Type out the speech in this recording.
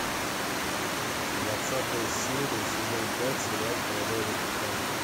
двадцатая серия сезон пять сериал половое воспитание